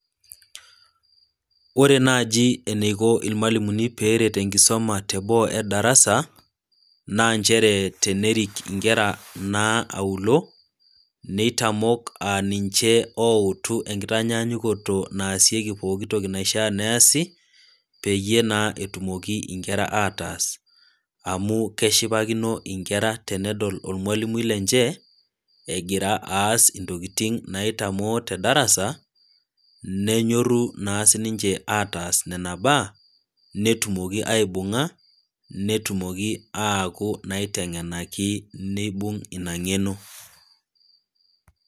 Ore naaji eneiko ilmwalimuni eneiko pee eret enkisoma te boo e darasa naa nchere tenerik inkera naa aulo, neitamok aa ninche outu enkitaanyanyukoto naasieki pooki toki naishaa pee easi, peyie etumoki naa inkera ataas, amu keshipakino naa inkera tenedol olmwalimui lenche egira aas intokitin naitamoo te darasa, nenyoru naa siininche ataas nena baa, netumoki aibung'a netumoki aaku naiteng'enaki neibung' ina ng'eno.